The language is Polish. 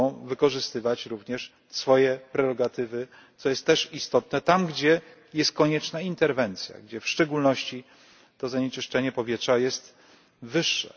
Mogą wykorzystywać również swoje prerogatywy, co jest też istotne tam, gdzie jest konieczna interwencja, gdzie w szczególności to zanieczyszczenie powietrza jest wyższe.